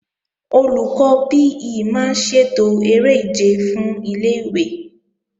Olùkọ́ PE máa ń ṣètò eré ìje fún ilé-ìwé